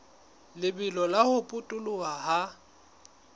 lebelo la ho potoloha ha